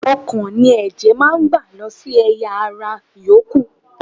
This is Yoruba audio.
Ọkàn ni ẹ̀jẹ̀ máa ń gbà lọ sí ẹ̀yà - ara yòókù.